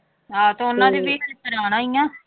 ਹਾਂ ਤੇ ਉਹਨਾਂ ਦੀ ਵੀ ਪੁਰਾਣਾ ਹੀ ਆਂ।